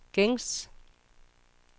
gængs